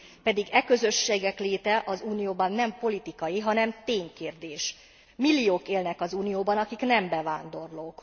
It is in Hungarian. Pedig e közösségek léte az Unióban nem politikai, hanem ténykérdés, milliók élnek az Unióban, akik nem bevándorlók.